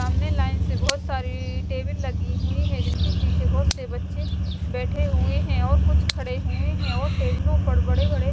सामने लाइन से बहोत सारी टेबल लगी हुई है जिनके पीछे बहोत से बच्चे बेठे हुए है कुछ खडे हुए है और टेबलों पर बड़े बड़े --